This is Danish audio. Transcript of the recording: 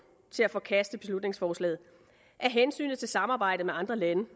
til at forkaste beslutningsforslaget er hensynet til samarbejdet med andre lande